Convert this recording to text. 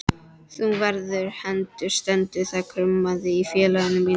Þú verður hengdur stendur þar kumraði í félaga mínum.